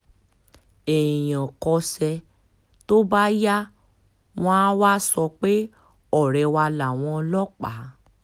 èèyàn kọsẹ̀ tó bá yá wọn àá wàá sọ pé ọ̀rẹ́ wà láwọn ọlọ́pàá